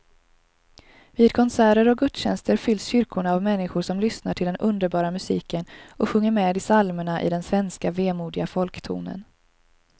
Vid konserter och gudstjänster fylls kyrkorna av människor som lyssnar till den underbara musiken och sjunger med i psalmerna i den svenska vemodiga folktonen.